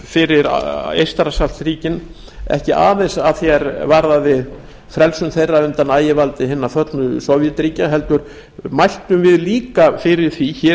fyrir eystrasaltsríkin ekki aðeins að því er varðaði frelsun þeirra undan ægivaldi hinna föllnu sovétríkja heldur mæltum við líka fyrir því hér